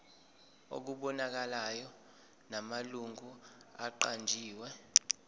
okubonakalayo namalungu aqanjiwe